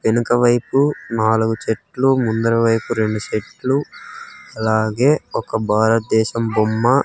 వెనుక వైపు నాలుగు చెట్లు ముందర వైపు రెండు చెట్లు అలాగే ఒక భారతదేశం బొమ్మ.